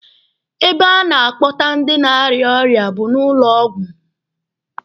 Ebe a na-akpọta ndị na-arịa ọrịa bụ na ụlọ ọgwụ.